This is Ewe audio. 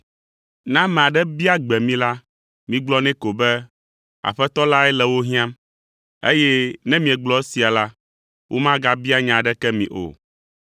Ne ame aɖe bia gbe mi la, migblɔ nɛ ko be, ‘Aƒetɔ lae le wo hiãm, eye ne miegblɔ esia la, womagabia nya aɖeke mi o.’ ”